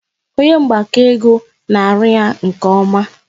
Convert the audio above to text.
Onye mgbakọ ego na-arụ ya nke ọma